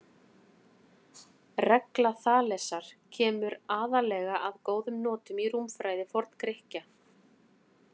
Regla Þalesar kemur aðallega að góðum notum í rúmfræði Forngrikkja.